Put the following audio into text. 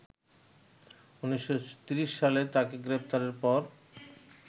১৯৩০ সালে তাকে গ্রেপ্তারের পর